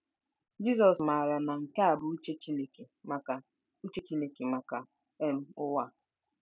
Jizọs maara na nke a bụ uche Chineke maka uche Chineke maka um ụwa.